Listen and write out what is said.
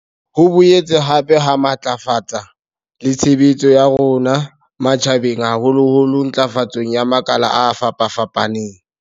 Ho boetse hape ha matlafatsa le tshebetso ya rona matjha beng haholoholo ntlafatsong ya makala a fapafapaneng.